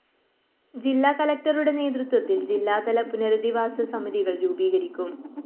ജില്ലാ കളക്ടറുടെ നേതൃത്വത്തില്‍ ജില്ലാതല പുനരധിവാസ സമിതികള്‍ രൂപീകരിക്കും